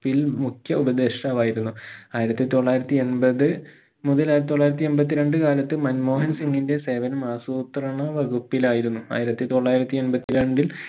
പ്പിൽ മുഖ്യ ഉപദേഷ്ട്ടാവായിരുന്നു ആയിരത്തി തൊള്ളായിരത്തി എൺപത് മുതൽ ആയിരത്തി തൊള്ളായിരത്തി എൺപത്തിരണ്ട് കാലത്ത് മൻമോഹൻ സിംഗിന്റെ സേവനം ആസൂത്രണ വകുപ്പിലായിരുന്നു ആയിരത്തി തൊള്ളായിരത്തി എൺപത്തി രണ്ടിൽ